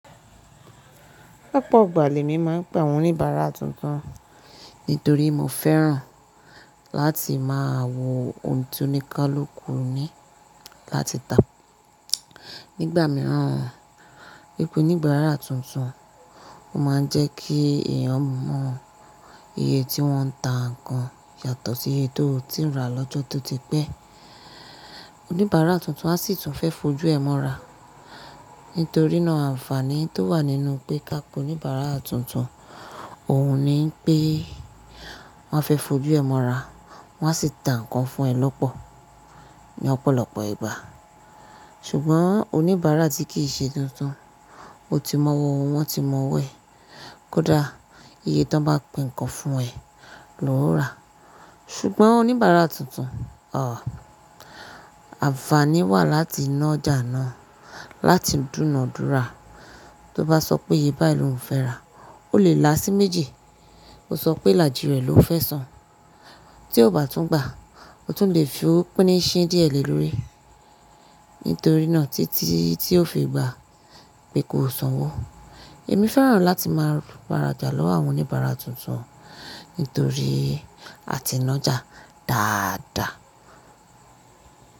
Lọ́pọ̀ igbà lẹ̀ mi ma ń pẹ̀ àwọn oníbaàrà tuntun nítorí mo fẹ́ràn láti máa wo ohun tí oníkaluku ní láti tà. Nígbà mìíràn, pípé oníbàarà tuntun o máa ń jẹ́ kí èèyàn mọ iye tí wọ́n ń tà nǹkan yàtọ̀ sí eyi tó o tii rà lọ́jọ́ tó ti pẹ́. Oníbàarà tuntun a sì tún fe fojú ẹ mọ́ ra. Nítorínà ànfàní tó wà nínú pé ká po oníbàarà tuntun, òhun ní pé wọ́n fẹ́ fojú ẹ mọ́ ra, wọ́n a sì tà nǹkan fún ẹ lọ́pọ̀ ní ọ̀pọ̀lọpọ̀ ìgbà. Ṣùgbọ́n oníbàarà tí kì í ṣe tuntun, o ti mọ owọ́ won, wọ́n ti mọ owo ẹ. Kódà iye tan bá pe nǹkan fún ẹ ló n rà. Ṣùgbọ́n oníbàarà tuntun, ànfàaní wà láti ná ọjà náà, láti dúnàádúrà. Tó bá sọ pé iye báyìí ló ún fẹ́ rà, ó lè la sí méjì, kó sọ pé ilàjí rẹ̀ ló fẹ́ san. Tí ó bá tún gbà, o tún le fi owo pin ìṣín díẹ̀ lé lórí. Nítorínà títí tí o fi gbà pé ko sanwó. Èmi fẹ́ràn láti máa wá rajà lọ́wọ́ àwọn oníbàarà tuntun nítorí a ti ńa ọjà dáadáa.